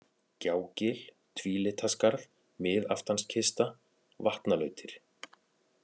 Gjágil, Tvílitaskarð, Miðaftanskista, Vatnalautir